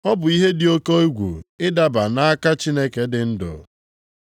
Ọ bụ ihe dị oke egwu ịdaba nʼaka Chineke dị ndụ.